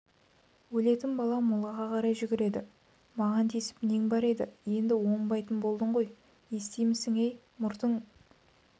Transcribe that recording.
өлетін бала молаға қарай жүгіреді маған тиісіп нең бар еді енді оңбайтын болдың ғой естимісің-ей мұртың